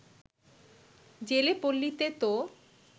জেলে পল্লীতে তো